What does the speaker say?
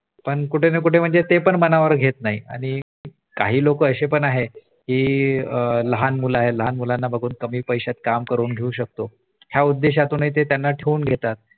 पण कुठेना कुठे ते पण मनावर घेत नाही आणि लोक अशे पण आहे की लहान मुलं आहे लहान मुलांना बघून कमी पैशात काम करून घेऊ शकतो ह्या उद्देशाने ते पण त्यांना ठेवून घेतात